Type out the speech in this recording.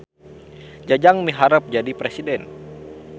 Jajang miharep jadi presiden